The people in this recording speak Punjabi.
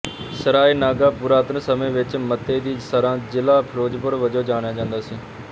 ਸਰਾਏ ਨਾਗਾ ਪੁਰਾਤਨ ਸਮੇਂ ਵਿੱਚ ਮੱਤੇ ਦੀ ਸਰਾਂ ਜ਼ਿਲ੍ਹਾ ਫਿਰੋਜ਼ਪੁਰ ਵਜੋਂ ਜਾਣਿਆ ਜਾਂਦਾ ਸੀ